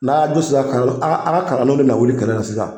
N'a ya du sera ka a a ka kalan denw ne bɛ na wuli kɛlɛ la sisan.